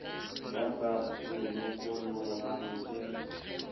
ya ka e lokolohang ke